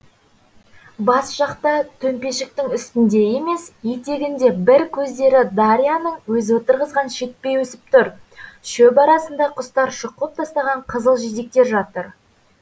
бас жақта төмпешіктің үстінде емес етегінде бір көздері дарьяның өзі отырғызған шетпе өсіп түр шөп арасында құстар шұқып тастаған қызыл жидектер жатыр